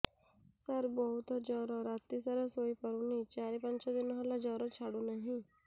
ସାର ବହୁତ ଜର ରାତି ସାରା ଶୋଇପାରୁନି ଚାରି ପାଞ୍ଚ ଦିନ ହେଲା ଜର ଛାଡ଼ୁ ନାହିଁ